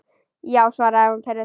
Já, svaraði hún pirruð.